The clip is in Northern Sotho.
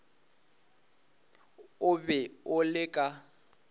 o be o le ka